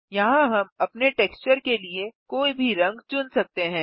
यहाँ हम अपने टेक्सचर के लिए कोई भी रंग चुन सकते हैं